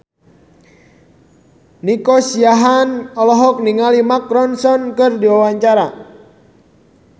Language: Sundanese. Nico Siahaan olohok ningali Mark Ronson keur diwawancara